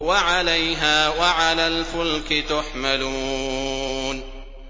وَعَلَيْهَا وَعَلَى الْفُلْكِ تُحْمَلُونَ